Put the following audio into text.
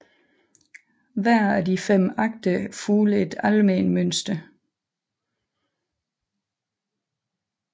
Hver af de fem akter fulgte et alment mønster